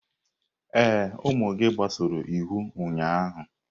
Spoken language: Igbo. Ee, ụmụ gị gbasoro iwu ụnyaahụ.